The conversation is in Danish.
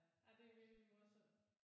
Nej det er virkelig morsomt